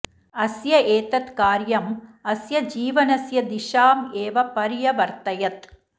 अस्य एतत् कार्यम् अस्य जीवनस्य दिशाम् एव पर्यवर्तयत्